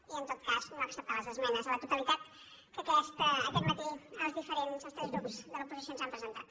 i en tot cas no acceptar les esmenes a la totalitat que aquest matí els tres grups de l’oposició ens han presentat